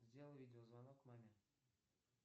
сделай видеозвонок маме